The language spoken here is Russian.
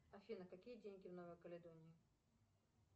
афина какие деньги в новой каледонии